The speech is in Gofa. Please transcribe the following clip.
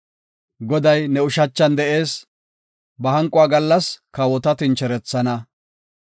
Goday ne ushachan de7ees; ba hanquwa gallas kawota tincherethana.